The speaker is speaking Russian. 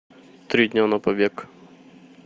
три дня на побег